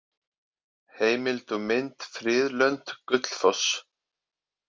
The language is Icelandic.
Heimild og mynd Friðlönd: Gullfoss.